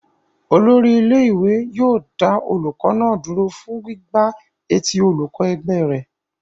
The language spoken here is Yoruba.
Olórí ilé-ìwé yóò dá olùkọ́ náà dúró fún gbígbá etí olùkọ́ ẹgbẹ́ rẹ̀.